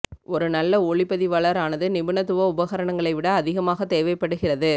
ஒரு நல்ல ஒளிப்பதிவாளர் ஆனது நிபுணத்துவ உபகரணங்களை விட அதிகமாக தேவைப்படுகிறது